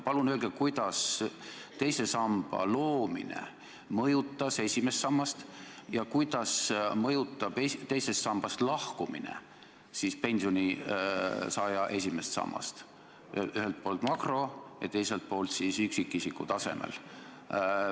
Palun öelge, kuidas teise samba loomine mõjutas esimest sammast ja kuidas mõjutab teisest sambast lahkumine pensionisaaja esimest sammast – ühelt poolt makrotasandil ja teiselt poolt üksikisiku tasandil.